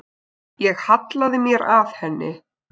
Ég hallaði mér að henni.